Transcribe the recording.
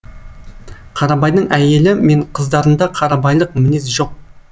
қарабайдың әйелі мен қыздарында қарабайлық мінез жоқ